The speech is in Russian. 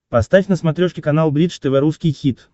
поставь на смотрешке канал бридж тв русский хит